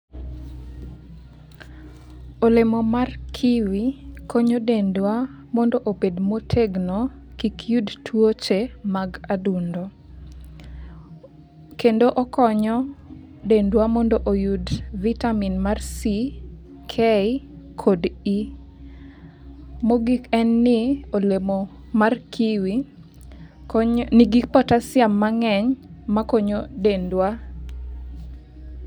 Olemo mar Kiwi konyo dendwa mondo obed motegno, kik yud tuoche mag adundo. Kendo okonyo dendwa mondo oyud vitamin mar C,K, kod E. Mogik en ni olemo mar Kiwi konyo nigi potassium mang'eny makonyo dendwa.